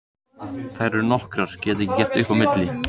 Þær eru nokkrar, get ekki gert upp á milli.